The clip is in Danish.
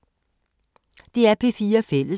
DR P4 Fælles